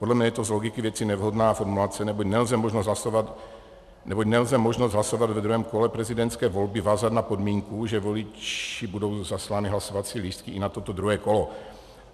Podle mne je to z logiky věci nevhodná formulace, neboť nelze možnost hlasovat ve druhém kole prezidentské volby vázat na podmínku, že voliči budou zaslány hlasovací lístky i na toto druhé kolo.